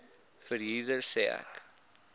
verhuurder sê ek